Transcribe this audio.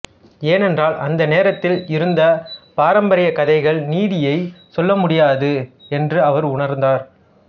ஏனென்றால் அந்த நேரத்தில் இருந்த பாரம்பரிய கதைகள் நீதியைச் சொல்ல முடியாது என்று அவர் உணர்ந்தார்